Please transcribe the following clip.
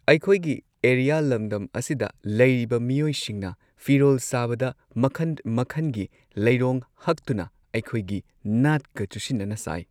ꯑꯩꯈꯣꯏꯒꯤ ꯑꯦꯔꯤꯌꯥ ꯂꯝꯗꯝ ꯑꯁꯤꯗ ꯂꯩꯔꯤꯕ ꯃꯤꯑꯣꯏꯁꯤꯡꯅ ꯐꯤꯔꯣꯜ ꯁꯥꯕꯗ ꯃꯈꯟ ꯃꯈꯟꯒꯤ ꯂꯩꯔꯣꯡ ꯍꯛꯇꯨꯅ ꯑꯩꯈꯣꯏꯒꯤ ꯅꯥꯠꯀ ꯆꯨꯁꯤꯟꯅꯅ ꯁꯥꯏ꯫